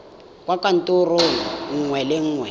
kwa kantorong nngwe le nngwe